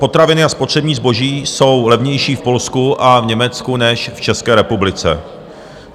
Potraviny a spotřební zboží jsou levnější v Polsku a v Německu než v České republice.